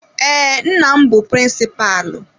Ee, nna m bụ prịnsịpalụ.